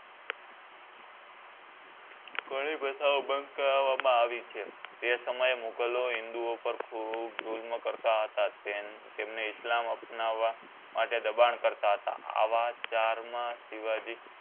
ઘણી પ્રથાઓ બંધ કરવામાં આવી છે તે સમયે મુઘલો હિન્દુઓ પર ખૂબ જુલ્મ કરતાં હતા તમને ઇસ્લામ અપનાવા માટે દબાણ કરતાં હતા આ વાત ચાર માં શિવજી